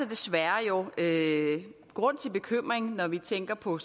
desværre grund til bekymring når vi tænker på